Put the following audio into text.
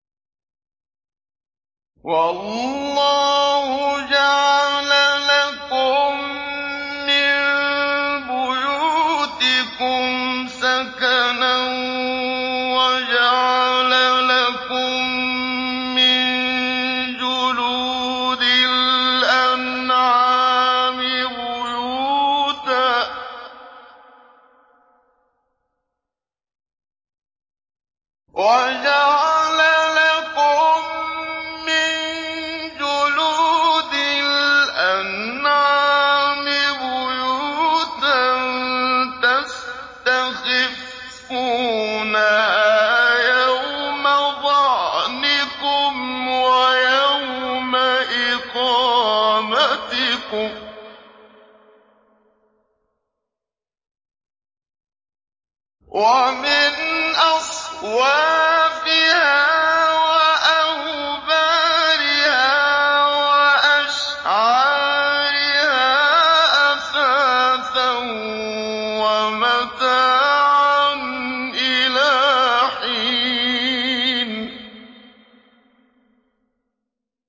وَاللَّهُ جَعَلَ لَكُم مِّن بُيُوتِكُمْ سَكَنًا وَجَعَلَ لَكُم مِّن جُلُودِ الْأَنْعَامِ بُيُوتًا تَسْتَخِفُّونَهَا يَوْمَ ظَعْنِكُمْ وَيَوْمَ إِقَامَتِكُمْ ۙ وَمِنْ أَصْوَافِهَا وَأَوْبَارِهَا وَأَشْعَارِهَا أَثَاثًا وَمَتَاعًا إِلَىٰ حِينٍ